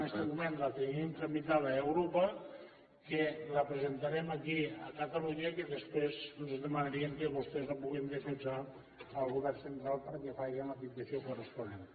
en este moment la tenim tramitada a europa que la presentarem aquí a catalunya i que després los hi dema·naríem que vostès la puguin defensar al govern central perquè faci la petició corresponent